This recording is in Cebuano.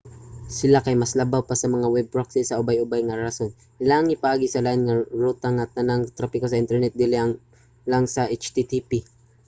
sila kay mas labaw sa mga web proxy sa ubay-ubay nga rason: ilahang ipaagi sa lain nga ruta ang tanang trapiko sa internet dili lang sa http